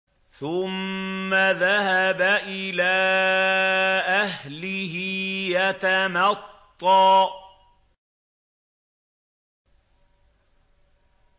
ثُمَّ ذَهَبَ إِلَىٰ أَهْلِهِ يَتَمَطَّىٰ